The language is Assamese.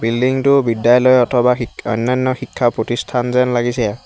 বিল্ডিং টো বিদ্যালয় অথবা শিখ অনান্য শিক্ষা প্ৰতিষ্ঠান যেন লাগিছে।